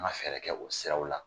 An ka fɛɛrɛ kɛ o siraw la